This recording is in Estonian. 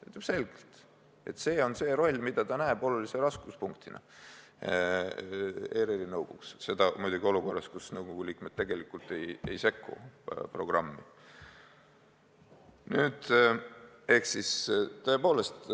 Ta ütleb selgelt, et see on see roll, mida ta näeb olulise raskuspunktina ERR-i nõukogus – seda muidugi olukorras, kus nõukogu liikmed tegelikult programmi ei sekku.